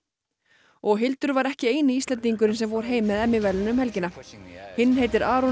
og Hildur var ekki eini Íslendingurinn sem fór heim með verðlaun um helgina hinn heitir Aron